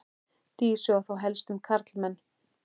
Dísu og þá helst um karlmenn.